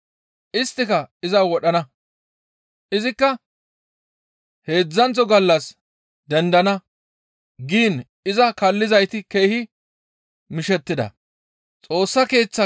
Isttika iza wodhana; izikka heedzdzanththo gallas dendana» giin iza kaallizayti keehi mishettida.